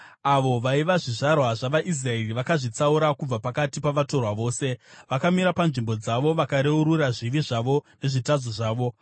Avo vaiva zvizvarwa zvavaIsraeri vakazvitsaura kubva pakati pavatorwa vose. Vakamira panzvimbo dzavo vakareurura zvivi zvavo nezvitadzo zvavo.